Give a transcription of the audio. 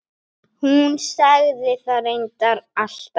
Hún sagði það reyndar alltaf.